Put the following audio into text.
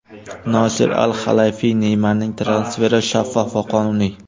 Nosir Al-Halayfiy: Neymarning transferi shaffof va qonuniy.